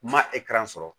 Ma sɔrɔ